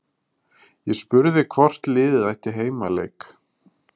Ég spurði hvort liðið ætti heimaleik?